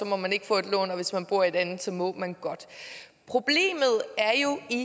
må man ikke få et lån og hvis man bor i et andet så må man godt problemet er jo i